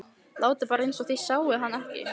Látið bara eins og þið sjáið hann ekki.